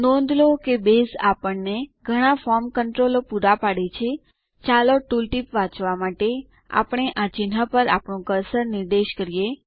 નોંધ લો કે બેઝ આપણને ઘણા ફોર્મ નિયંત્રણો પુરા પાડે છે ચાલો ટુલ ટીપ વાંચવા માટે આપણે આ ચિહ્નો પર આપણું કર્સર નિર્દેશ કરીએ